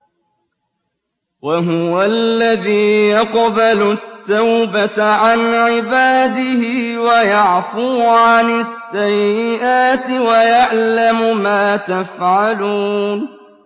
وَهُوَ الَّذِي يَقْبَلُ التَّوْبَةَ عَنْ عِبَادِهِ وَيَعْفُو عَنِ السَّيِّئَاتِ وَيَعْلَمُ مَا تَفْعَلُونَ